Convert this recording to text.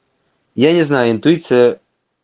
я не знаю интуиция